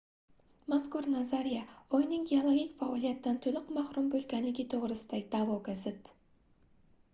mazkur nazariya oyning geologik faoliyatdan toʻliq mahrum boʻlganligi toʻgʻrisidagi daʼvoga zid